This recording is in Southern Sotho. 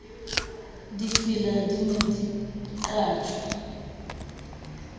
difela di ne di qatjwa